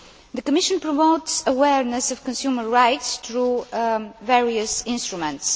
The Commission promotes awareness of consumer rights through various instruments.